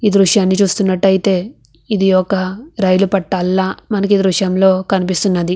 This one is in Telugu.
ఈ దృశ్యాన్ని చూస్తున్నట్టయితే ఇది ఒక రైలు పట్టాల మనకి దృశ్యంలో కనిపిస్తున్నది.